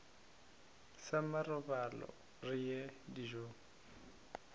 sa marobalo re ye dijong